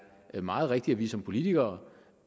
meget rigtigt at vi som politikere